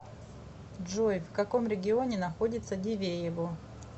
джой в каком регионе находится дивеево